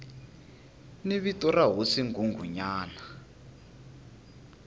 ni vito ra hosi nghunghunyana